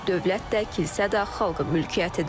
Dövlət də, kilsə də xalqa mülkiyyətidir.